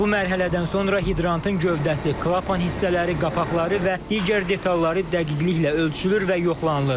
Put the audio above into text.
Bu mərhələdən sonra hidrantın gövdəsi, klapan hissələri, qapaqları və digər detalları dəqiqliklə ölçülür və yoxlanılır.